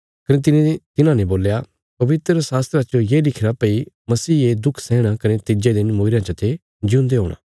कने तिने तिन्हांने बोल्या पवित्रशास्त्रा च ये लिखिरा भई मसीहे दुख सैहणा कने तिज्जे दिन मूईरयां चते जिऊंदे हूणा